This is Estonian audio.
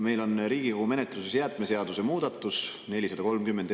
Meil on Riigikogu menetluses jäätmeseaduse muudatus, eelnõu 430.